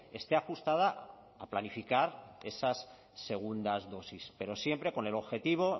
esté ajustada a planificar esas segundas dosis pero siempre con el objetivo